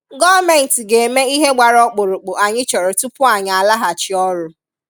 Gọọmenti ga-eme ihe gbara okpụrụkpụ anyị chọrọ tupu anyị alaghachị ọrụ.